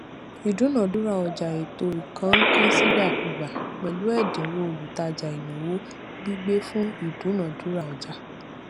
ìdúnadúrà ọjà ètò ìkónǹkansíìgbàkúgbà pẹlú ẹdínwó olútajà ìnáwó gbígbé fún ìdúnadúrà ọjà